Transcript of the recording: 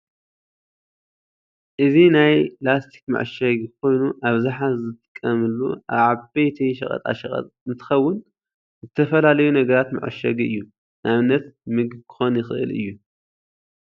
እዚ ናይ ላስቲክ መዐሸጊ ኮይኑ ኣብዝሓ ዝጥቀምሉ ኣብ ዓበይቲ ሸቀጣሐቀጥ እንትከውን ዝተፈላለዩ ዝተፈላለዩ ነገራት መዐሸጊ እዩ። ንኣብነት ምግቢ ክኮን ይክእል እዩ።